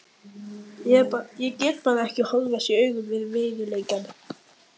Ég gat bara ekki horfst í augu við veruleikann.